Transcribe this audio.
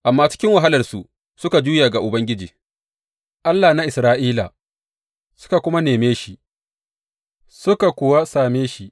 Amma cikin wahalarsu suka juya ga Ubangiji, Allah na Isra’ila, suka kuma neme shi, suka kuwa same shi.